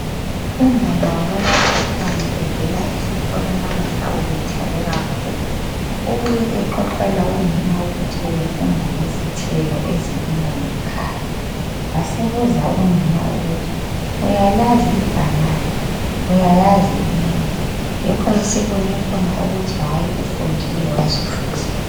Unana bawomakhelwane evela esikolo namhla ube thabe kakhulu. Ubuye exoxela unina ukuthi bebefunda ngezithelo ezilinywa ngekhaya. Wasebuza unina ukuthi uyalazi ibhanana, uyayazi imengo, yikho esibone khona ukuthi hayi ufundile wazwisisa.